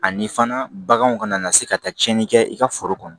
Ani fana baganw kana na se ka taa tiɲɛni kɛ i ka foro kɔnɔ